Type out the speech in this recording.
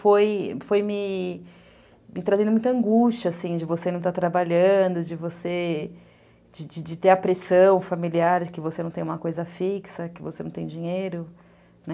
foi me foi me trazendo muita angústia, assim, de você não estar trabalhando, de você de de ter a pressão familiar de que você não tem uma coisa fixa, que você não tem dinheiro, né?